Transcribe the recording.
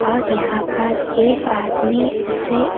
और यहां पर एक आदमी उसे--